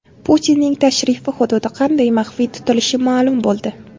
Putinning tashrif hududi qanday maxfiy tutilishi ma’lum bo‘ldi.